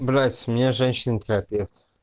блять у меня женщина терапевт